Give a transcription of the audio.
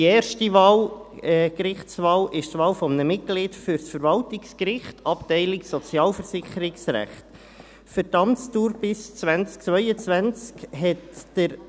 Bei der ersten Wahl, Gerichtswahl, handelt es sich um die Wahl eines Mitglieds für das Verwaltungsgericht des Kantons Bern, sozialversicherungsrechtliche Abteilung.